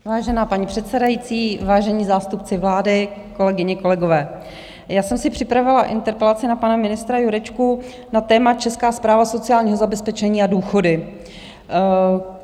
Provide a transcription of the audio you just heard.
Vážená paní předsedající, vážení zástupci vlády, kolegyně, kolegové, já jsem si připravila interpelaci na pana ministra Jurečku na téma Česká správa sociálního zabezpečení a důchody.